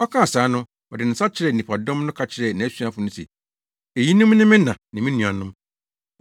Ɔkaa saa no, ɔde ne nsa kyerɛɛ nnipadɔm no ka kyerɛɛ nʼasuafo no se, “Eyinom ne me na ne me nuanom.”